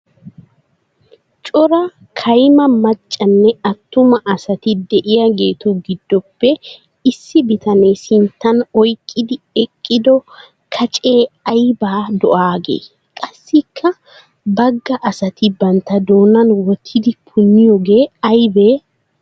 Coraa kayima maccanne atumaa asatti de'iyaagettu gidoppe issi bitanee sinttan oyqqiddi eqiddo kaccee ayba do'aage? Qassikka bagaa asatti bantta doonan wottidi puniyooge aybee?